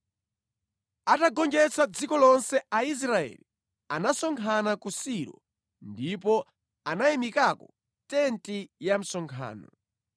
Atagonjetsa dziko lonse Aisraeli anasonkhana ku Silo ndipo anayimikako tenti ya msonkhano.